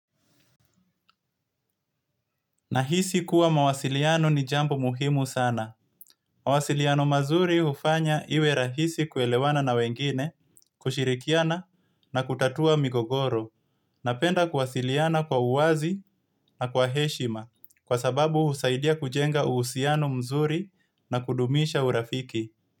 Nahisi kuwa mawasiliano ni jambo muhimu sana. Mawasiliano mazuri ufanya iwe rahisi kuelewana na wengine, kushirikiana na kutatua migogoro. Napenda kuwasiliana kwa uwazi na kwa heshima kwa sababu usaidia kujenga uhusiano mzuri na kudumisha urafiki.